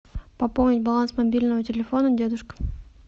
пополнить баланс мобильного телефона дедушка